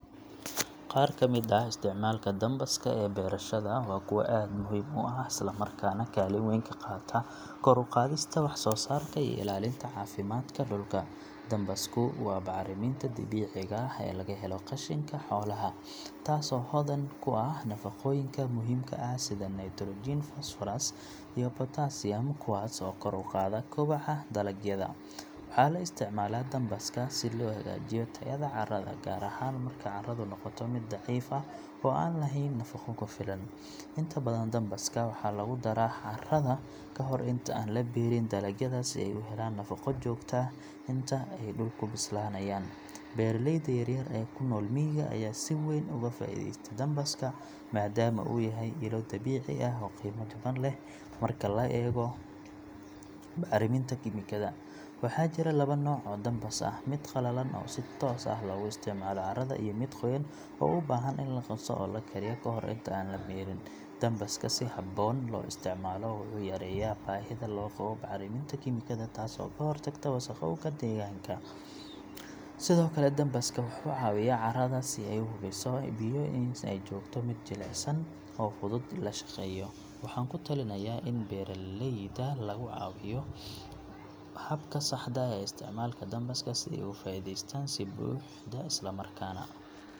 Qaar ka mid ah isticmaalka dambaska ee beerashada waa kuwo aad muhiim u ah isla markaana kaalin weyn ka qaata kor u qaadista wax soo saarka iyo ilaalinta caafimaadka dhulka. Dambasku waa bacriminta dabiiciga ah ee laga helo qashinka xoolaha, taasoo hodan ku ah nafaqooyinka muhiimka ah sida nitrogen, phosphorus, iyo potassium kuwaas oo kor u qaada koboca dalagyada. Waxaa la isticmaalaa dambaska si loo hagaajiyo tayada carrada, gaar ahaan marka carradu noqoto mid daciif ah oo aan lahayn nafaqo ku filan. Inta badan, dambaska waxaa lagu daraa carrada ka hor inta aan la beerin dalagyada si ay u helaan nafaqo joogto ah inta ay dhulku bislaanayaan. Beeraleyda yar-yar ee ku nool miyiga ayaa si weyn uga faa’iideysta dambaska, maadaama uu yahay ilo dabiici ah oo qiimo jaban leh marka loo eego bacriminta kiimikada. Waxaa jira laba nooc oo dambas ah; mid qallalan oo si toos ah loogu isticmaalo carrada iyo mid qoyan oo u baahan in la qaso oo la kariyo ka hor inta aan la beerin. Dambaska si habboon loo isticmaalo wuxuu yareeyaa baahida loo qabo bacriminta kiimikada taas oo ka hortagta wasakhowga deegaanka. Sidoo kale, dambaska wuxuu ka caawiyaa carrada inay sii hayso biyaha iyo in ay noqoto mid jilicsan oo fudud in la shaqeeyo. Waxaan ku talinayaa in beeraleyda lagu wacyigeliyo habka saxda ah ee isticmaalka dambaska si ay uga faa’iidaystaan si buuxda isla markaana .